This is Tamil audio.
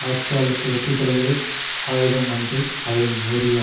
ஆட்சியாளருக்கு வெற்றி தருவது ஆயுதம் அன்று அவரின் நேரிய